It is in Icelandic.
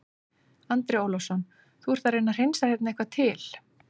Andri Ólafsson: Þú ert að reyna að hreinsa hérna eitthvað til?